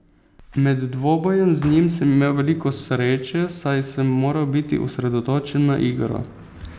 Med dvobojem z njim sem imel veliko sreče, saj sem moral biti osredotočen na igro.